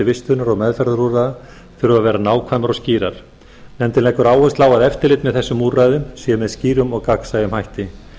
vistunar og meðferðarúrræða þurfa að vera nákvæmar og skýrar nefndin leggur áherslu á að eftirlit með þessum úrræðum sé með skýrum og gagnsæjum hætti